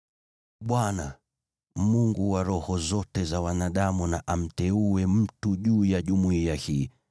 “ Bwana , Mungu wa roho zote za wanadamu, na amteue mtu juu ya jumuiya hii